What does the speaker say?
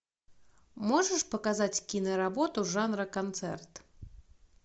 можешь показать киноработу жанра концерт